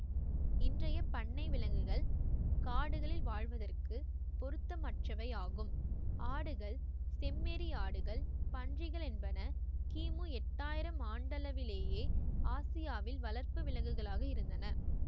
இன்றைய பண்ணை விலங்குகள் காடுகளில் வாழ்வதற்குப் பொருத்தமற்றவை ஆகும் ஆடுகள் செம்மறியாடுகள் பன்றிகள் என்பன கிமு எட்டாயிரம் ஆண்டளவிலேயே ஆசியாவில் வளர்ப்பு விலங்குகளாக இருந்தன